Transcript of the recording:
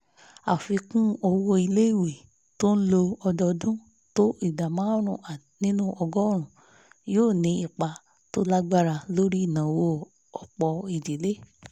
àfikún owó iléèwé tó lọ ọ́dọọdún tó ìdá márùn nínú ọgọ́rùn yóò ní ipa tó lágbára lórí ìnáwó ọ̀pọ̀ ìdílé